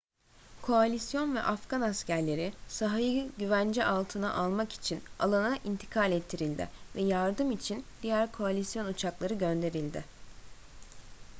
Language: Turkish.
koalisyon ve afgan askerleri sahayı güvence altına almak için alana intikal ettirildi ve yardım için diğer koalisyon uçakları gönderildi